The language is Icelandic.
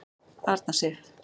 Arna Sif.